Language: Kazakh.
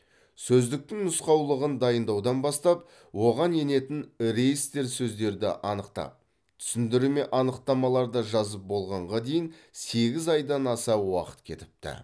сөздіктің нұсқаулығын дайындаудан бастап оған енетін реестр сөздерді анықтап түсіндірме анықтамаларды жазып болғанға дейін сегіз айдан аса уақыт кетіпті